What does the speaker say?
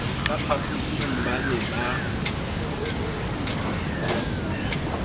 ka phaphosing ba ne ba